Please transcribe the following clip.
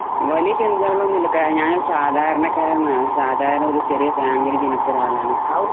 വലിയ ചിനതലൊന്നുമില്ല ഞാൻ ഒരു സാധാരണകാരനാണ് ഒരു ചെറിയ ഫാമിലി ഇൽ ജനിച്ച ഒരാളാണ്